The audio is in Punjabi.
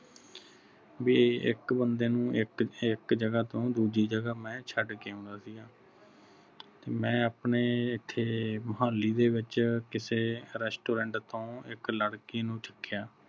ਬਈ ਇਕ ਬੰਦੇ ਨੂੰ ਇਕ ਇਕ ਜਗਾਹ ਤੋਂ ਦੂਜੀ ਜਗਾਹ ਮੈਂ ਛੱਡ ਕੇ ਆਉਣਾ ਸੀਗਾ ਮੈਂ ਆਪਣੇ ਇੱਥੇ ਮੁਹਾਲੀ ਦੇ ਵਿਚ ਕਿਸੇ restaurant ਤੋਂ ਇਕ ਲੜਕੀ ਨੂੰ ਚੁਕਿਆ।